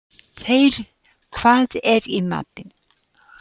Þeyr, hvað er í matinn?